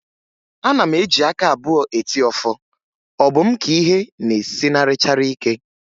Ana m eji aka abụọ eti ọfọ, ọ bụ m ka ihe na-esinarịchara ike?